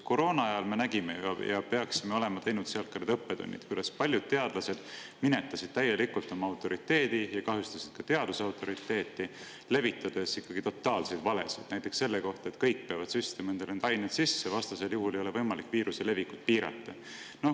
Koroona ajal me nägime ju seda ‒ ja peaksime olema saanud õppetunni ‒, kuidas paljud teadlased minetasid täielikult oma autoriteedi ja kahjustasid ka teaduse autoriteeti, levitades ikkagi totaalseid valesid, näiteks selle kohta, et kõik peavad süstima endale neid aineid sisse, vastasel juhul ei ole võimalik viiruse levikut piirata.